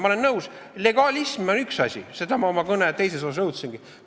Ma olen nõus, legalism on üks asi, seda ma oma kõne teises osas rõhutasingi.